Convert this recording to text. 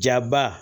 Jaba